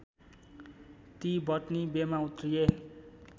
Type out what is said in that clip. ती बटनी बेमा उत्रिए